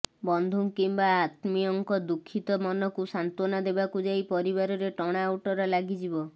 ବନ୍ଧୁ କିମ୍ବା ଆତ୍ମୀୟଙ୍କ ଦୁଃଖିତ ମନକୁ ସାନ୍ତ୍ୱନା ଦେବାକୁ ଯାଇ ପରିବାରରେ ଟଣା ଓଟରା ଲାଗିଯିବ